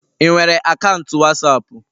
Ị nwere akaụntụ wasapu